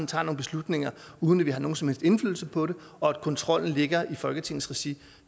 tager nogle beslutninger uden at vi har nogen som helst indflydelse på dem og at kontrollen ligger i folketingets regi